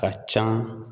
Ka ca